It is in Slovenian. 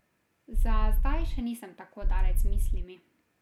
Za zdaj še nisem tako daleč z mislimi.